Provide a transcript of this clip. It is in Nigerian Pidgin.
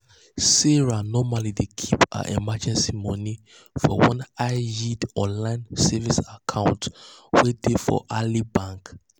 sarah normally dey keep her emergency money for one high-yield online savings account wey dey for ally bank.